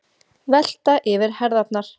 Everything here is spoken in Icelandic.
Velta yfir herðarnar.